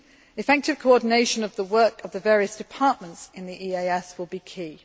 Effective coordination of the work of the various departments in the EAS will be